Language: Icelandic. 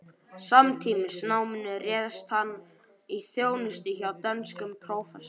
Samtímis náminu réðst hann í þjónustu hjá dönskum prófessor